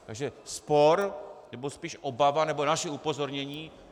Takže spor nebo spíše obava nebo naše upozornění: